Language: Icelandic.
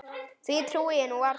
Því trúi ég nú varla.